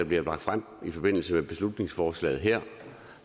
bliver lagt frem i forbindelse med beslutningsforslaget her